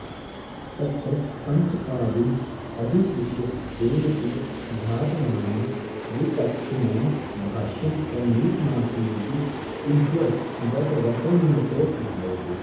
तत्र पञ्चपादीमधिकृष्य केनचिदज्ञातनाम्ना विचक्षणेन भाष्यं प्रणीतमासीदिति उज्ज्वलदत्तवचनतो ज्ञायते